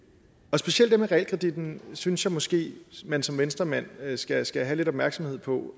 og specielt det med realkreditten synes jeg måske man som venstremand skal skal have lidt opmærksomhed på